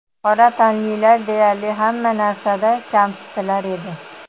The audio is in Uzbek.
Qora tanlilar deyarli hamma narsada kamsitilar edi.